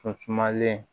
Sɔnlen